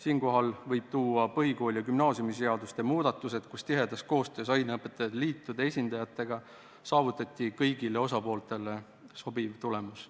Siinkohal võib näiteks tuua põhikooli- ja gümnaasiumiseaduse muudatused, mille korral saavutati tihedas koostöös aineõpetajate liitude esindajatega kõigile osapooltele sobiv tulemus.